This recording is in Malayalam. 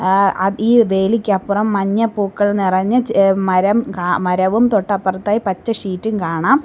ആ അ ഈ വേലിക്കപ്പുറം മഞ്ഞപ്പൂക്കൾ നിറഞ്ഞ ച മരം മരവും തൊട്ടപ്പുറത്തായി പച്ച ഷീറ്റ് ഉം കാണാം.